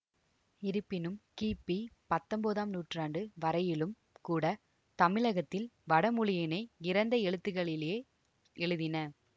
இருப்பினும் கிபி பத்தொன்பதாம் நூற்றாண்டு வரையிலும் கூட தமிழகத்தில் வடமொழியினைக் கிரந்த எழுத்துக்களிலேயே எழுதினர்